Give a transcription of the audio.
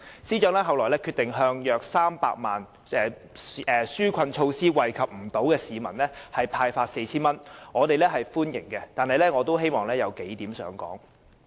司長其後決定向約300萬名未能受惠於紓困措施的市民派發 4,000 元，我們歡迎有關的決定，但我仍想提出數點。